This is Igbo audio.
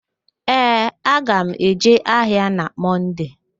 Ee, aga m eje ahịa na Mọnde